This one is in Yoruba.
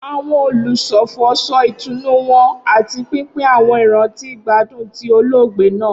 Awọn olufọfọ sọ itunu wọn ati pinpin awọn iranti igbadun ti oloogbe naa.